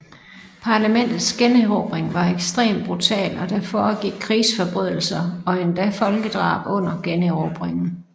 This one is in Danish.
Parlamentets generobring var ekstrem brutal og der foregik krigsforbrydelser og endda folkedrab under generobringen